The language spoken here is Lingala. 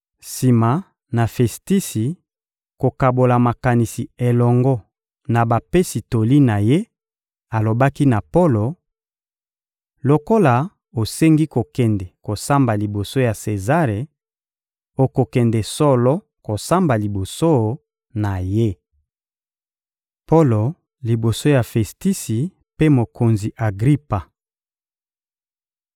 Sima na Festisi kokabola makanisi elongo na bapesi toli na ye, alobaki na Polo: — Lokola osengi kokende kosamba liboso ya Sezare, okokende solo kosamba liboso na ye. Polo liboso ya Festisi mpe mokonzi Agripa